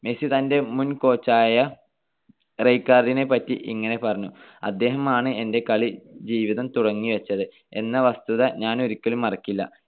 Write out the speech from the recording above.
Messi തന്റെ മുൻ coach യ റൈക്കാർഡിനെപ്പറ്റി ഇങ്ങനെ പറഞ്ഞു. അദ്ദേഹമാണ് എന്റെ കളിജീവിതം തുടങ്ങിവെച്ചത് എന്ന വസ്തുത ഞാനൊരിക്കലും മറക്കില്ല.